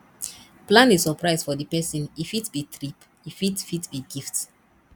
plan a suprise for di perosn e fit be trip e fit fit be gift